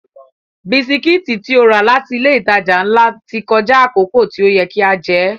Bisikítì tí ó rà láti ilé ìtajà ńlá ti kọjá àkókò tí ó yẹ kí a jẹ́